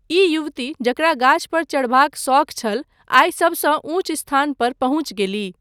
ई युवती जकरा गाछपर चढ़बाक शौख छल, आइ सभसँ ऊँच स्थान पर पहुँचि गेलीह।